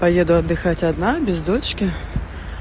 поеду отдыхать одна без дочки